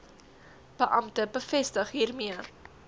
beampte bevestig hiermee